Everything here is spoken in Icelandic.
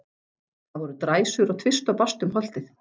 Það voru dræsur á tvist og bast um holtið.